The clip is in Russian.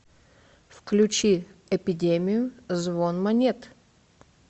включи эпидемию звон монет